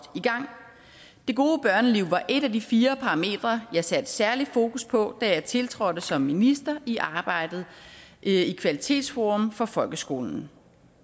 i gang det gode børneliv var et af de fire parametre jeg satte særlig fokus på da jeg tiltrådte som minister i arbejdet i kvalitetsforum for folkeskolen